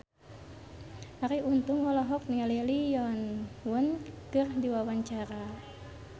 Arie Untung olohok ningali Lee Yo Won keur diwawancara